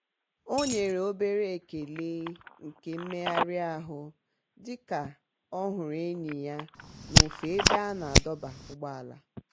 ọ nyere obere ekele nke mmegharịahụ dị ka ọ hụrụ enyi ya n'ofe ebe a na-adọba ụgbọala.